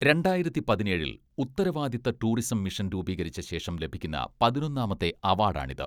രണ്ടായിരത്തി പതിനേഴിൽ ഉത്തരവാദിത്ത ടൂറിസം മിഷൻ രൂപീകരിച്ച ശേഷം ലഭിക്കുന്ന പതിനൊന്നാമത്തെ അവാഡാണിത്.